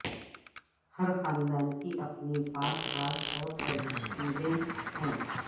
ہر خاندان کی اپنی پاک راز اور ترکیبیں ہے